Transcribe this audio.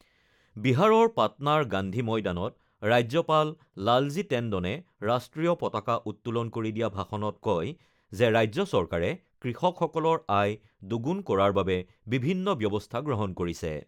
বিহাৰৰ পাটনাৰ গান্ধী ময়দানত ৰাজ্যপাল লালজী টেণ্ডনে ৰাষ্ট্ৰীয় পতাকা উত্তোলন কৰি দিয়া ভাষণত কয় যে, ৰাজ্য চৰকাৰে কৃষকসকলৰ আয় দুগুণ কৰাৰ বাবে বিভিন্ন ব্যৱস্থা গ্ৰহণ কৰিছে।